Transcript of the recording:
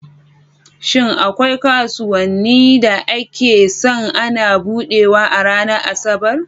Shin akwai kasuwanni da aka san ana buɗewa a ranar Asabar?